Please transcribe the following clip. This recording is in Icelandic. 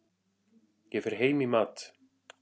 Ég fer heim í mat.